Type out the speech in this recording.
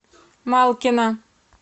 малкина